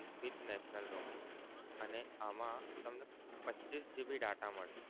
with national roaming અને આમાં તમને પચ્ચીસ GB data મળશે.